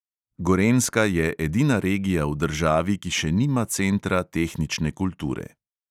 Gorenjska je edina regija v državi, ki še nima centra tehnične kulture.